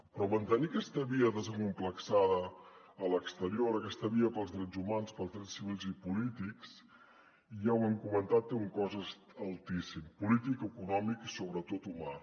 però mantenir aquesta via desacomplexada a l’exterior aquesta via pels drets humans pels drets civils i polítics ja ho hem comentat té un cost altíssim polític econòmic i sobretot humà